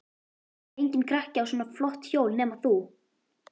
Enginn krakki á svona flott hjól nema þú.